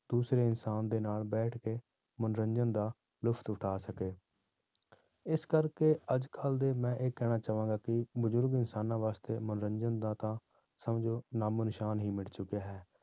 ਦੂਸਰੇ ਇਨਸਾਨ ਦੇ ਨਾਲ ਬੈਠ ਕੇ ਮਨੋਰੰਜਨ ਦਾ ਲੁਫ਼ਤ ਉਠਾ ਸਕੇ ਇਸ ਕਰਕੇ ਅੱਜ ਕੱਲ੍ਹ ਦੇ ਮੈਂ ਇਹ ਕਹਿਣਾ ਚਾਹਾਂਗਾ ਕਿ ਬਜ਼ੁਰਗ ਇਨਸਾਨਾਂ ਵਾਸਤੇ ਮਨੋਰੰਜਨ ਦਾ ਤਾਂ ਸਮਝੋ ਨਾਮੋ ਨਿਸ਼ਾਨ ਹੀ ਮਿਟ ਚੁੱਕਿਆ ਹੈ।